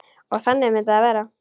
Og þannig myndi það vera.